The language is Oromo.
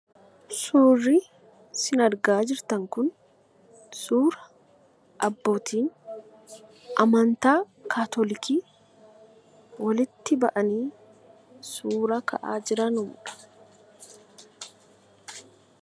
Suurri isin argaa jirtan kun suura abbootiin amantaa kaatoolikii walitti bahanii suuraa ka'aa jiranudha.